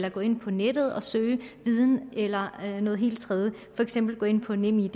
at gå ind på nettet og søge viden eller noget helt tredje for eksempel at gå ind på nemid